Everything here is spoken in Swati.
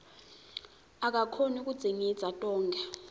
akakhoni kudzingidza tonkhe